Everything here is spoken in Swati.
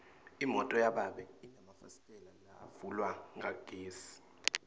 imoto yababe inemafasitela lavulwa ngagesi